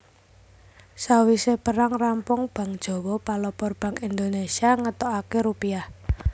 Sawisé perang rampung Bank Jawa palopor Bank Indonésia ngetokaké Rupiah